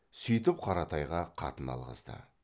сүйтіп қаратайға қатын алғызды